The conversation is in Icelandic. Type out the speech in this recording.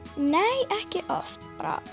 nei ekki oft